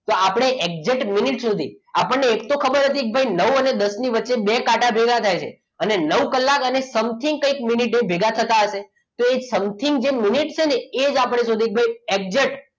તો આપણે exact minute સુધી આપણને એ તો ખબર હતી કે નવ અને દસ ની વચ્ચે બે કાંટા ભેગા થાય છે અને નવ કલાક અને something ક્યાંક મિનિટે ભેગા થતા હશે તો એ something મિનિટ છે ને એ જ આપણે શોધ્યું exact